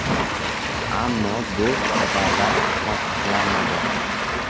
Ammo bu xabarlar tasdiqlanmadi.